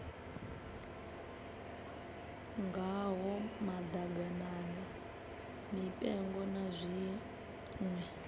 ngaho maḓaganana mipengo na zwiṋwe